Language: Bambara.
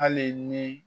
Hali ni